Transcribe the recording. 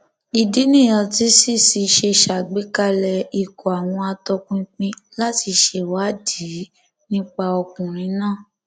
ìdí nìyẹn tí cc ṣe ṣàgbékalẹ ikọ àwọn àtòpinpin láti ṣèwádìí nípa ọkùnrin náà